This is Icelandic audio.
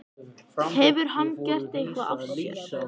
Hefur hann gert eitthvað af sér?